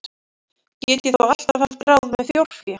Get ég þó alltaf haft ráð með þjórfé.